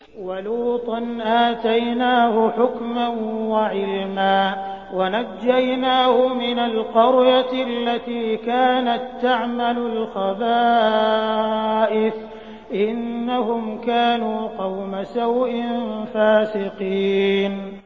وَلُوطًا آتَيْنَاهُ حُكْمًا وَعِلْمًا وَنَجَّيْنَاهُ مِنَ الْقَرْيَةِ الَّتِي كَانَت تَّعْمَلُ الْخَبَائِثَ ۗ إِنَّهُمْ كَانُوا قَوْمَ سَوْءٍ فَاسِقِينَ